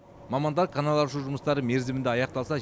мамандар канал аршу жұмыстары мерзімінде аяқталса